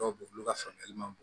Dɔw bɛ yen olu ka faamuyali ma bɔ